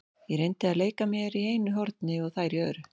Ég reyndi að leika mér í einu horni og þær í öðru.